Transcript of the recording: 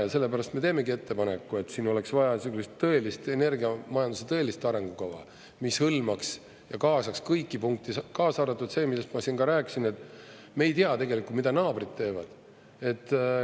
Ja sellepärast me teemegi ettepaneku, et siin oleks vaja sellist tõelist, energiamajanduse tõelist arengukava, mis hõlmaks ja kaasaks kõiki punkte, kaasa arvatud see, millest ma siin ka rääkisin, et me ei tea tegelikult, mida naabrid teevad.